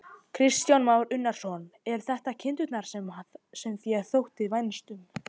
Kristján Már Unnarsson: Eru þetta kindurnar sem þér þótti vænst um?